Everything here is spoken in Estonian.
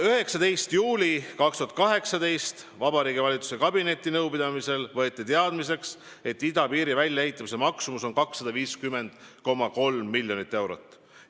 19. juulil 2018 võeti Vabariigi Valitsuse kabinetinõupidamisel teadmiseks, et idapiiri väljaehitamise maksumus on 250,3 miljonit eurot.